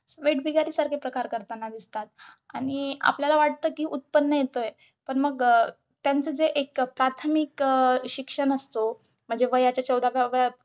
वेठबिगारीचे प्रकार करतांना दिसतात आणि आपल्याला वाटते कि उत्त्पन्न येतंय पण मग अं त्यांचं एक प्राथमिक अं शिक्षण असतो म्हणजे वयाच्या चौदाव्या व्या